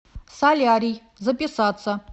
солярий записаться